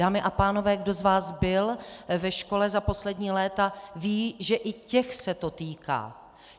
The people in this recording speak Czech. Dámy a pánové, kdo z vás byl ve škole za poslední léta, ví, že i těch se to týká.